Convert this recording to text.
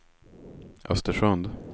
Östersund